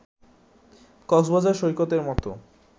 কক্সবাজার সৈকতের মতো